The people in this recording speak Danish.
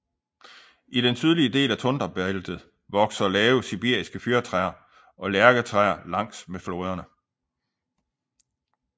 I den sydlige del af tundrabæltet vokser lave sibiriske fyrretræer og lærketræer langs med floderne